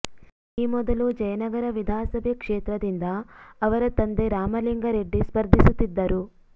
ಈ ಮೊದಲು ಜಯನಗರ ವಿಧಾಸಭೆ ಕ್ಷೇತ್ರದಿಂದ ಅವರ ತಂದೆ ರಾಮಲಿಂಗರೆಡ್ಡಿ ಸ್ಪರ್ಧಿಸುತ್ತಿದ್ದರು